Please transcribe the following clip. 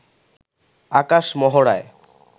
আকাশ মহড়ায়